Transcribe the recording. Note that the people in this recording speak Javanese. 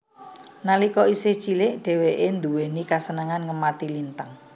Nalika isih cilik dheweke duwéni kasenengan ngemati lintang